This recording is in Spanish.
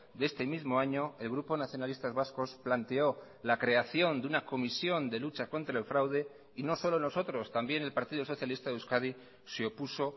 de este mismo año el grupo nacionalistas vascos planteó la creación de una comisión de lucha contra el fraude y no solo nosotros también el partido socialista de euskadi se opuso